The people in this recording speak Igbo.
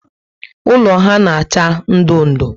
Ụlọ ha na acha ndụ ndụ